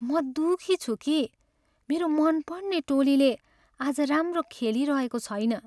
म दुखी छु कि मेरो मनपर्ने टोलीले आज राम्रो खेलिरहेको छैन।